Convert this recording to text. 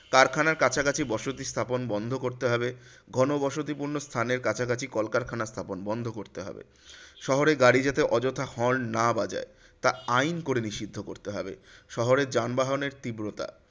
কারখানার কাছাকাছি বসতি স্থাপন বন্ধ করতে হবে। ঘন বসতি স্থানের কাছাকাছি কলকারখানার স্থাপন বন্ধ করতে হবে। শহরে গাড়ি যাতে অযথা horn না বাজায়, তা আইন করে নিষিদ্ধ করতে হবে। শহরের যানবাহনের তীব্রতা